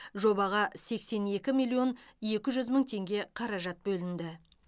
жобаға сексен екі миллион екі жүз мың теңге қаражат бөлінді